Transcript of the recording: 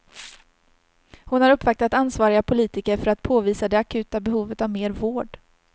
Hon har uppvaktat ansvariga politiker för att påvisa det akuta behovet av mer vård.